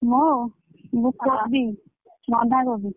ମୁଁ ମୁଁ କୋବି ବନ୍ଧା କୋବି।